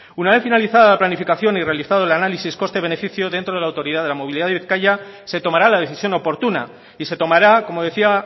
una vez finalizada la planificación y realizado el análisis coste beneficio dentro de la autoridad de la movilidad de bizkaia se tomará la decisión oportuna y se tomará como decía